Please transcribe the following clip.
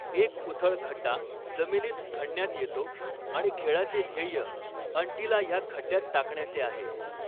एक उथळ खड्डा जमीनीत खणण्यात येतो आणि खेळाचे ध्येय अंटीला ह्या खड्ड्यात टाकण्याचे आहे.